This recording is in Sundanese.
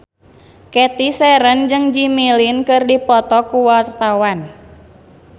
Cathy Sharon jeung Jimmy Lin keur dipoto ku wartawan